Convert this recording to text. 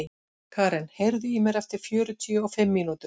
Karen, heyrðu í mér eftir fjörutíu og fimm mínútur.